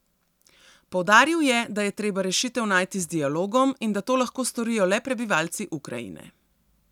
Poudaril je, da je treba rešitev najti z dialogom in da to lahko storijo le prebivalci Ukrajine.